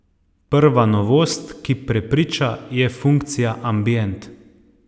Prva novost, ki prepriča, je funkcija ambient.